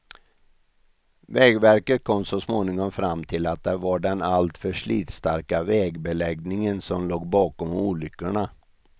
Vägverket kom så småningom fram till att det var den alltför slitstarka vägbeläggningen som låg bakom olyckorna.